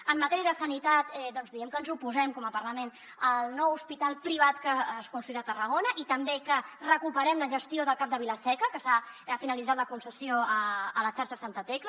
en matèria de sanitat doncs diem que ens oposem com a parlament al nou hospital privat que es construirà a tarragona i també que recuperem la gestió del cap de vila seca que s’ha finalitzat la concessió a la xarxa santa tecla